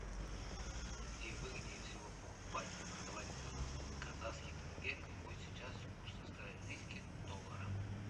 где выгоднее всего покупать и продавать казахский тенге какой сейчас курс австралийских доллара